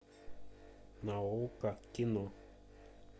на окко кино